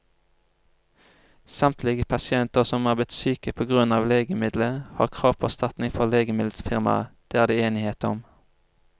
Samtlige pasienter som er blitt syke på grunn av legemiddelet, har krav på erstatning fra legemiddelfirmaet, det er det enighet om.